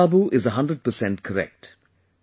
Ranjan babu is a hundred percent correct